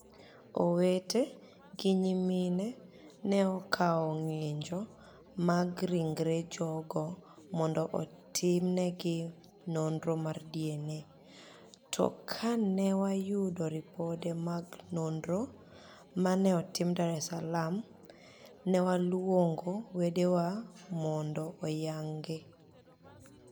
Owete gi niyimini e ni e okawo nig'inijo mag rinigre jogo monido otimni egi noniro mar DniA, to ka ni e wayudo ripode mag noniro ma ni e otim Dar es Saalaam, ni e waluonigo wedewa monido oyanigi.